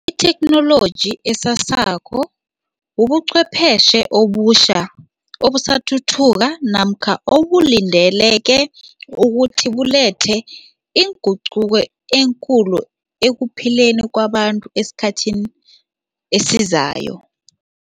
Itheknoloji esasako ubuchwepheshe obutjha, obusathuthuka namkha obulindeleke ukuthi bulethe inguquko enkulu ekuphileni kwabantu esikhathini esizayo.